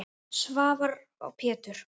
Sævar og Pétur.